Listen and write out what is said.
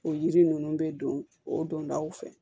O yiri ninnu bɛ don o don daw fɛ